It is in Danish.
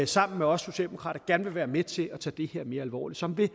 sammen med os socialdemokrater gerne vil være med til at tage det her mere alvorligt som vil